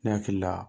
Ne hakili la